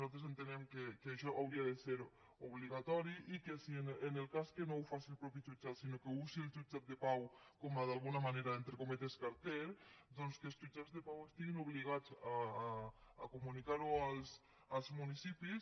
nosaltres entenem que això hauria de ser obligatori i que en el cas que no ho faci el mateix jutjat sinó que usi el jutjat de pau com a d’alguna manera entre cometes carter doncs que els jutjats de pau estiguin obligats a comunicar ho als municipis